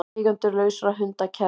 Eigendur lausra hunda kærðir